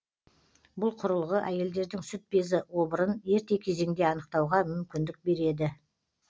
бұл құрылғы әйелдердің сүт безі обырын ерте кезеңде анықтауға мүмкіндік береді